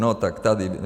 No tak tady.